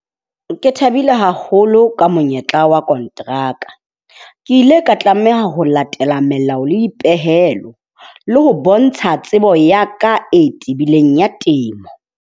Ke thabile haholo ka monyetla wa konteraka. Ke ile ka tlameha ho latela melao le dipehelo. Le ho bontsha tsebo ya ka e tebileng ya temo.